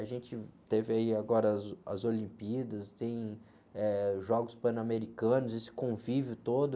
A gente teve aí agora as, as Olimpíadas, tem, eh, Jogos Pan-Americanos, esse convívio todo.